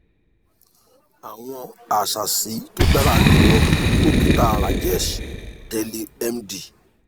àwọn àsàsì tó dára jùlọ dókítà rajesh teli md